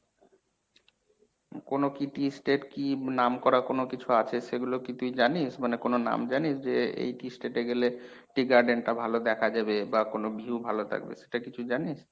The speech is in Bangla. কোনো কী tea state কী আছে নামকরা কোনো কিছু আছে সেগুলো কী তুই জানিস? মানে কোনো নাম জানিস যে এই tea state এ গেলে tea garden টা ভালো দেখা যাবে বা কোনো view ভালো থাকবে সেটা কি তুই জানিস?